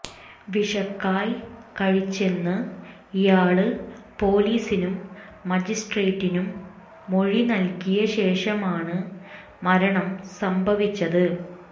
വിഷക്കായ് കഴിച്ചെന്ന് ഇയാള് പോലീസിനും മജിസ്ട്രേറ്റിനും മൊഴി നല്കിയ ശേഷമാണ് മരണം സംഭവിച്ചത്